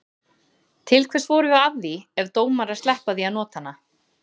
Til hvers vorum við að því ef dómarar sleppa því að nota hana?